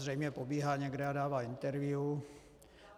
Zřejmě pobíhá někde a dává interview.